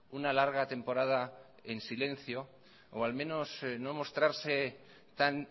una larga temporada en silencio o al menos no mostrarse tan